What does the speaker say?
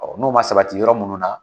Ɔɔ n'o ma sabati yɔrɔ munnu na.